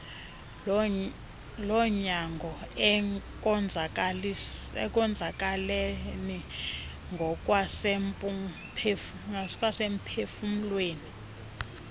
lonyango ekonzakaleni ngokwasemphufumlweni